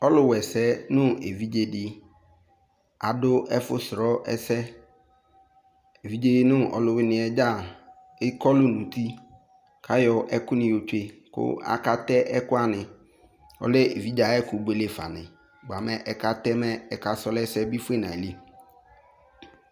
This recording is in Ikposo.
Ɔluwɛsɛ no evidze de ado ɛfosrɔɛsɛ Evidze no ɔluwene dza ekɔlu no uti ko ayɔ ɛku ne yɔ tsue ko aka tɛ ɛku wane Ɔlɛ evidze aye ɛku buele fa ne boamɛ aka tɛ mɛ aka srɔ ɛse be fue no ayili